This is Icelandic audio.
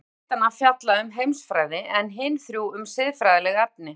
Þrjú ritanna fjalla um heimsfræði, en hin þrjú um siðfræðileg efni.